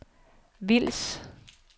Vils